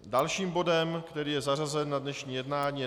Dalším bodem, který je zařazen na dnešní jednání, je